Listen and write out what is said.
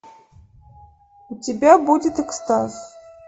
у тебя будет экстаз